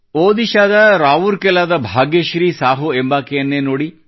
ಒಡಿಶಾದ ರಾವುರ್ಕೆಲಾದ ಭಾಗ್ಯಶ್ರೀ ಸಾಹೂ ಎಂಬಾಕೆಯನ್ನೇ ನೋಡಿ